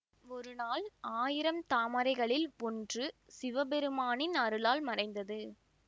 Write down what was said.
ஒரு நாள் ஆயிரம் தாமரைகளில் ஒன்று சிவபெருமானின் அருளால் மறைந்தது